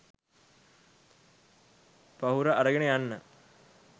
පහුර අරගෙන යන්න